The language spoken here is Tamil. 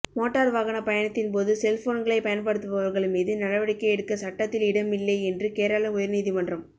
மோட்டார் வாகன பயணத்தின்போது செல்போன்களை பயன்படுத்துபவர்கள் மீது நடவடிக்கை எடுக்க சட்டத்தில் இடமில்லை என்று கேரள உயர்நீதிமன்றம்